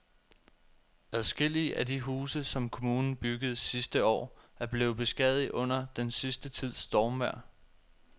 Adskillige af de huse, som kommunen byggede sidste år, er blevet beskadiget under den sidste tids stormvejr.